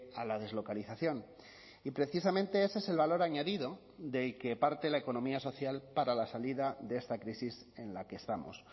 a la deslocalización y precisamente ese es el valor añadido del que parte la economía social para la salida de esta crisis en la que estamos